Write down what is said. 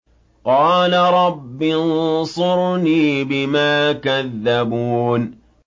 قَالَ رَبِّ انصُرْنِي بِمَا كَذَّبُونِ